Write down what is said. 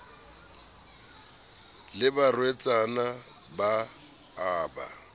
le barwetsana ba a ba